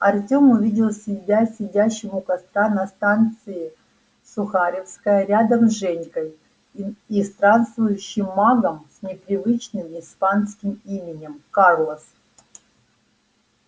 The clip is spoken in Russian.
артём увидел себя сидящим у костра на станции сухаревская рядом с женькой и и странствующим магом с непривычным испанским именем карлос